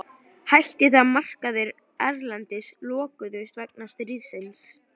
Hætti þegar markaðir erlendis lokuðust vegna stríðsins.